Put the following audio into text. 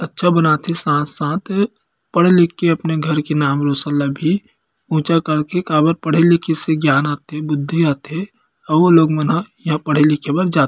अच्छा बनाथे साथ - साथ पढ़ लिख के अपने घर के नाम रोशन ला भी ऊँचा करके भी काबर पढ़े लिखे से ज्ञान आथे बुद्धि आथे अउ लोग मनह यहाँ पढ़े लिखे बर जाथे।